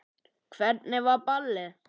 Hvernig var ballið?